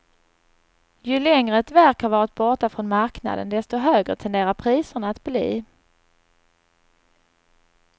Ju längre ett verk har varit borta från marknaden, desto högre tenderar priserna att bli.